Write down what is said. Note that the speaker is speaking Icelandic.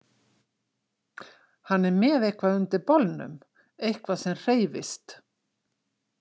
Hann er með eitthvað undir bolnum, eitthvað sem hreyfist.